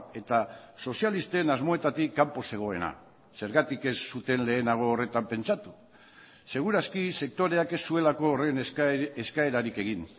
eta sozialisten asmoetatik kanpo zegoena zergatik ez zuten lehenago horretan pentsatu seguraski sektoreak ez zuelako horren eskaerarik egin